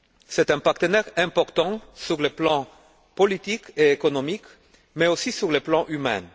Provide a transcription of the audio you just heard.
C'est un partenaire important sur le plan politique et économique, mais aussi sur le plan humain.